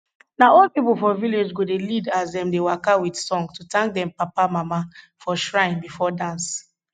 na old pipo for village go dey lead as dem dey waka with song to thank dem papa mama for shrine bifo dance